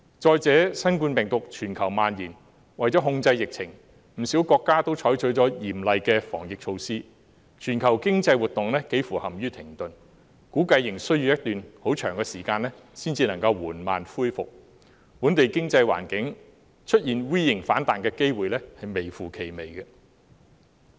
再者，新冠病毒在全球蔓延，為了控制疫情，不少國家都採取了嚴厲的防疫措施，全球經濟活動幾乎陷於停頓，估計仍需要一段很長時間才能慢慢恢復，本地經濟環境出現 V 型反彈的機會微乎其微。